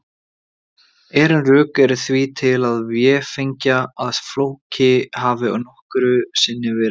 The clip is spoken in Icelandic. Ærin rök eru því til að véfengja að Flóki hafi nokkru sinni verið til.